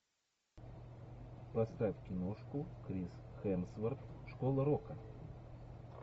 поставь киношку крис хемсворт школа рока